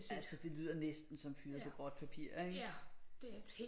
Altså det lyder næsten som fyret på gråt papir ikke